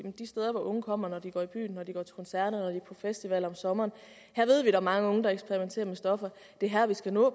de steder hvor unge kommer når de går i byen når de går til koncert og på festival om sommeren ved vi at mange unge eksperimenterer med stoffer det er her vi skal nå